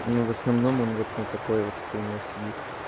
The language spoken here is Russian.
но в основном он вот на такой вот хуйне сидит